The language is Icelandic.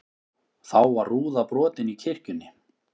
Þá var rúða brotin í kirkjunni